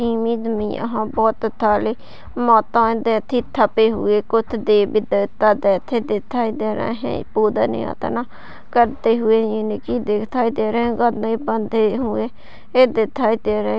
image मे यहाँ बहुत सारे माताए हुए कुछ देवी देवता जैसे दिखाई दे रहे है पूजा अर्चना करते हुए करते हुए दिखाई दे रहे